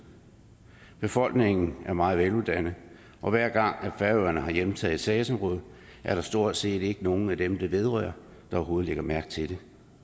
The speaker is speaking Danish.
befolkningen er meget veluddannet og hver gang færøerne har hjemtaget et sagsområde er der stort set ikke nogen af dem det vedrører der overhovedet lægger mærke til det